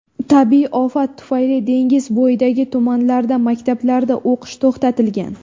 Tabiiy ofat tufayli dengiz bo‘yidagi tumanlarda maktablarda o‘qish to‘xtatilgan.